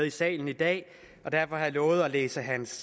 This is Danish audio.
i salen i dag og derfor har jeg lovet at læse hans